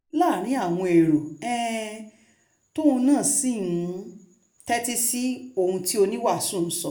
níṣẹ́ ni ọkùnrin náà jókòó láàrin àwọn èrò um tóun náà sì ń um tẹ́tí sí ohun tí oníwàásù ń sọ